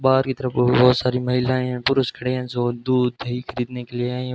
बाहर की तरफ बहोत सारी महिलाएं पुरुष खड़े हैं जो दूध दही खरीदने के लिए आईं हैं।